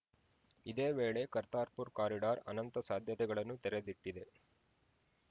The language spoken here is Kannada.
ಇದೇ ವೇಳೆ ಕರ್ತಾರ್‌ಪುರ ಕಾರಿಡಾರ್‌ ಅನಂತ ಸಾಧ್ಯತೆಗಳನ್ನು ತೆರದಿಟ್ಟಿದೆ